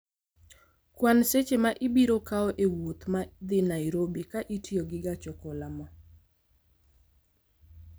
Kwan seche ma ibiro kawo e wuoth ma dhi Nairobi ka itiyo gi gach okoloma